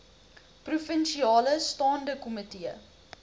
provinsiale staande komitee